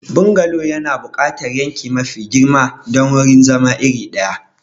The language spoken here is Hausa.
Bungalow yana buƙatar yanki mafi girma don wurin zama iri ɗaya.